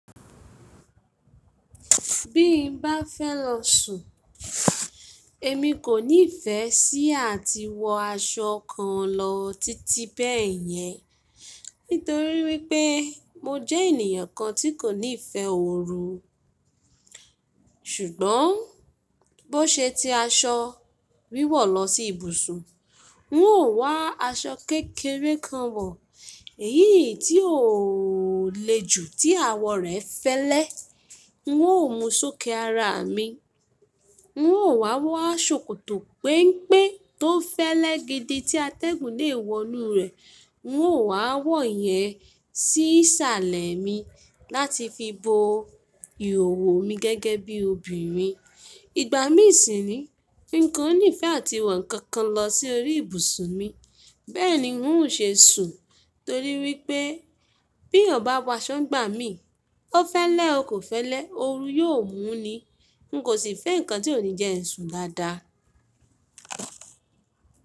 Bí n bá fẹ́ lọ sùn, èmi kò ní ìfẹ́ sí àti wọ aṣọ kan lọ títí bẹ́ẹ̀ yẹn. Nítorí wípé mo jẹ́ ènìyàn kan tí kò ní ìfẹ́ òru. Ṣùgbọ́n bó ṣe tí aṣọ wíwọ̀ lọ sí ibùsùn, n ó wá aṣọ kékeré kan wọ, èyí tí o le jù tí àwọ̀ rẹ fẹ́lẹ́, n ó mú sókè ara mi. N ó wá wọ ṣòkòtò pẹ́npẹ́ tó fẹ́lẹ́ gidi tí atẹ́gùn lè wọnú rẹ̀, n ó wá wọ̀ ọ́ yẹn sí salẹ̀ mi láti fi bo ìhòòhò mi gẹ́gẹ́ bí obìnrin. Ìgbà mí sì ni, mí kò ní ìfẹ́ àti wọ nǹkan kan lọ sí orí ìbùsùn mi. Bẹ́ẹ̀ni n ó ṣe sùn torí wípé bí ọ̀ bá wọ aṣọ gbà mí, ó fẹ́lẹ́ o kò fẹ́lẹ́ òru yóò mú ni. N kò sì fẹ́ nǹkan tí ò ní jẹ́ ẹ̀sùn dáadáa.